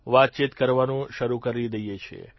વાતચીત કરવાનું શરૂ કરી દઇએ છીએ